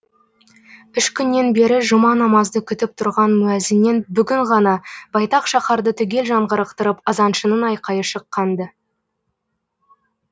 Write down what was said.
үш күннен бері жұма намазды күтіп тұрған муәзіннен бүгін ғана байтақ шаһарды түгел жаңғырықтырып азаншының айқайы шыққан ды